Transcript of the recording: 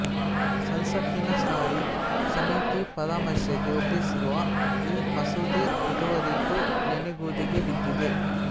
ಸಂಸತ್ತಿನ ಸ್ಥಾಯಿ ಸಮಿತಿ ಪರಾಮರ್ಶೆಗೆ ಒಪ್ಪಿಸಿರುವ ಈ ಮಸೂದೆ ಇದುವರೆಗೂ ನೆನೆಗುದಿಗೆ ಬಿದ್ದಿದೆ